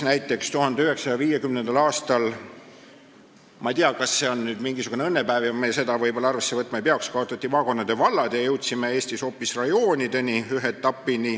Ja 1950. aastal – ma ei tea, kas see oli mingisugune õnnepäev, vahest me seda arvesse võtma ei peaks – kaotati maakondade vallad ja Eestis tekitati hoopis rajoonid.